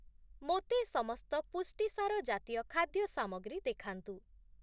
ମୋତେ ସମସ୍ତ ପୁଷ୍ଟିସାର ଜାତୀୟ ଖାଦ୍ୟ ସାମଗ୍ରୀ ଦେଖାନ୍ତୁ ।